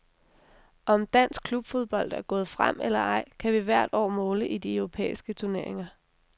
Om dansk klubfodbold er gået frem eller ej, kan vi hvert år måle i de europæiske turneringer.